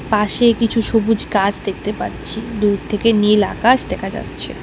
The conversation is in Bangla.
পাশে কিছু সবুজ গাছ দেখতে পাচ্ছি দূর থেকে নীল আকাশ দেখা যাচ্ছে।